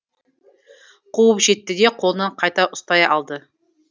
қуып жетті де қолынан қайта ұстай алды